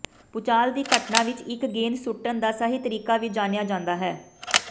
ਭੂਚਾਲ ਦੀ ਘਟਨਾ ਵਿਚ ਇਕ ਗੇਂਦ ਸੁੱਟਣ ਦਾ ਸਹੀ ਤਰੀਕਾ ਵੀ ਜਾਣਿਆ ਨਹੀਂ ਜਾਂਦਾ